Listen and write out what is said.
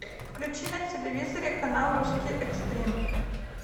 включи на телевизоре канал русский экстрим